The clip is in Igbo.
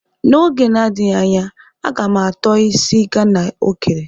N'oge na-adịghị anya,a ga m ato isi Ghana o kere.